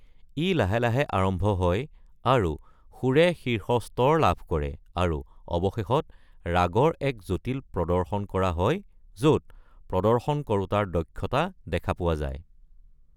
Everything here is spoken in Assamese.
ই লাহে লাহে আৰম্ভ হয় আৰু সুৰে শীৰ্ষ স্তৰ লাভ কৰে, আৰু অৱশেষত ৰাগৰ এক জটিল প্ৰদৰ্শন কৰা হয় য’ত প্ৰদৰ্শনকৰোঁতাৰ দক্ষতা দেখা পোৱা যায়।